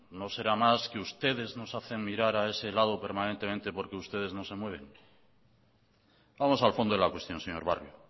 no será más que ustedes nos hacen mirar a ese lado permanentemente porque ustedes no se mueven vamos al fondo de la cuestión señor barrio